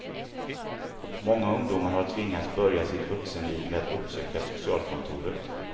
Många ungdomar har tvingats börja sitt vuxenliv med att uppsöka socialkontoret.